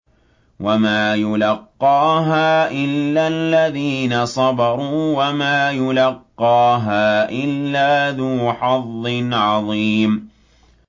وَمَا يُلَقَّاهَا إِلَّا الَّذِينَ صَبَرُوا وَمَا يُلَقَّاهَا إِلَّا ذُو حَظٍّ عَظِيمٍ